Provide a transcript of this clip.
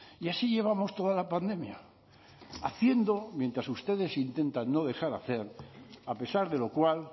y así llevamos toda la pandemia haciendo mientras ustedes intentan no dejar hacer a pesar de lo cual